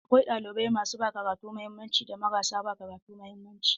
Akwai ɗalibai masu ba karatu mahimmanci da marasa ba karatu mahimmanci.